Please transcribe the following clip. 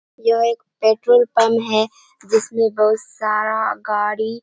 यह एक petrol pump है जिसमें बहुत सारा गाड़ी --